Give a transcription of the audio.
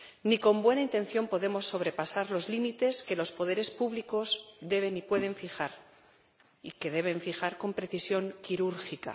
Ni con buena intención podemos sobrepasar los límites que los poderes públicos deben y pueden fijar y que deben fijar con precisión quirúrgica.